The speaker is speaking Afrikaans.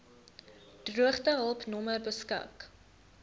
droogtehulp nommer beskik